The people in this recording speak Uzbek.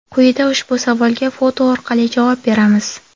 Quyida ushbu savolga foto orqali javob beramiz.